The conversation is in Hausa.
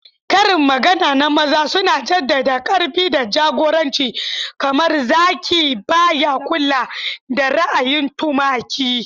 Karin magana na maza suna jaddada ƙarfi da jagoranci, kamar "Zaki ba ya kula da ra'ayin tumaki."